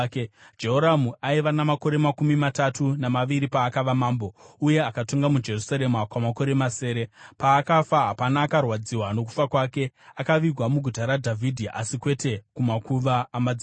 Jehoramu aiva namakore makumi matatu namaviri paakava mambo uye akatonga muJerusarema kwamakore masere. Paakafa hapana akarwadziwa nokufa kwake, akavigwa muguta raDhavhidhi asi kwete kumakuva amadzimambo.